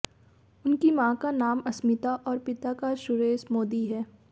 उनकी मां का नाम अस्मिता और पिता का सुरेश मोदी है